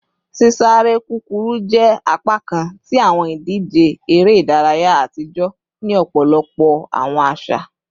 Sisare kukuru jẹ apakan ti awọn idije ere idaraya atijọ ni ọpọlọpọ awọn aṣa